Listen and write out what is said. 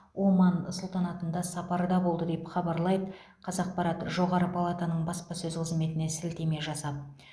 оман сұлтанатында сапарда болды деп хабарлайды қазақпарат жоғары палатаның баспасөз қызметіне сілтеме жасап